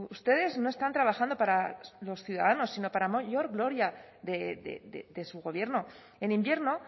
ustedes no están trabajando para los ciudadanos sino para mayor gloria de su gobierno en invierno